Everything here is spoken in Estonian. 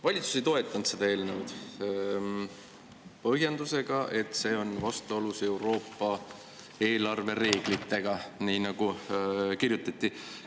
Valitsus ei toetanud seda eelnõu põhjendusega, et see on vastuolus Euroopa eelarvereeglitega, nii nagu kirjutati.